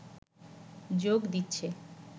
যোগ দিচ্ছে